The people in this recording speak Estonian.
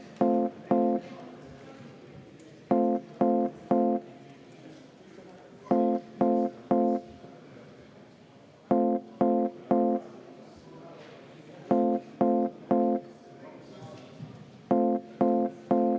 Seda muudatusettepanekut hää…